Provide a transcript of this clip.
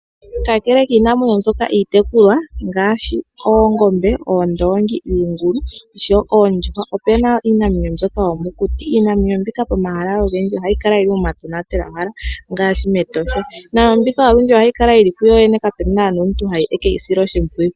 Ka kele kiinamwenyo mbyoka iitekulwa ngaashi oongombe, iingulu, iikombo, oondongi noshowo oondjuhwa, ope na wo iinamwenyo mbyoka yomokuti. Iinamwenyo mbika pomahala ogendji ohayi kala yili poma tonatelwahala ngaashi etosha. Iinamwenyo mbika ohayi kala yili kuyoyene kapena ngu teyi sile oshipwiyu.